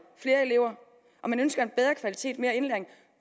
flere elever og man ønsker en bedre kvalitet mere indlæring